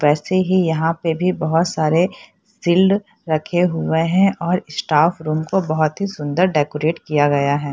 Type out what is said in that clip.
वैसे ही यहां पे भी बहुत सारे शिल्ड रखे हुए हैं और स्टाफ रूम को बहुत ही सुंदर डेकोरेट किया गया है।